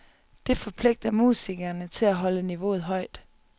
Det forpligter musikerne til at holde niveauet højt.